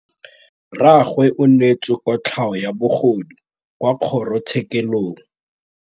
Rragwe o neetswe kotlhaô ya bogodu kwa kgoro tshêkêlông.